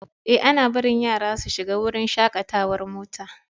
Ee, ana barin yara su shiga wurin shakatawar mota.